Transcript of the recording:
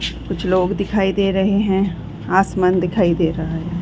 कुछ लोग दिखाई दे रहें हैं आसमान दिखाई दे रहा है।